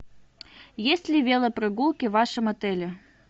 есть ли велопрогулки в вашем отеле